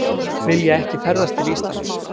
Vilja ekki ferðast til Íslands